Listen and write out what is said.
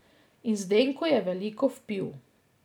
In Zenko je veliko vpil.